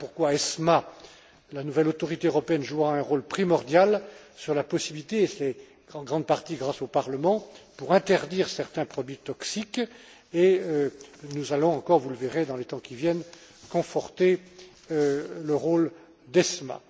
Voilà pourquoi ESMA, la nouvelle autorité européenne, jouera un rôle primordial sur la possibilité et c'est en grande partie grâce au Parlement d'interdire certains produits toxiques et nous allons encore, vous le verrez dans les temps qui viennent, conforter le rôle d'ESMA.